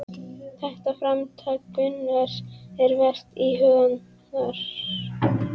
Þetta framtak Gunnars er vert íhugunar.